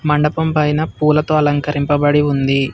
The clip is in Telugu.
మండపం పైన పూలతో అలంకరింపబడి ఉంది.